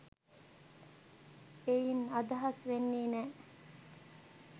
එයින් අදහස් වෙන්නේ නෑ